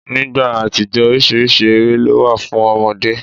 Nígbà àtijó oríṣiríṣi eré ló wà fún ọmọdé.